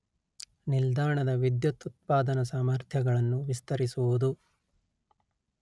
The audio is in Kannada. ನಿಲ್ದಾಣದ ವಿದ್ಯುತ್ ಉತ್ಪಾದನಾ ಸಾಮರ್ಥ್ಯಗಳನ್ನು ವಿಸ್ತರಿಸುವುದು